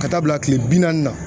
Ka taa bila kile bi naani na.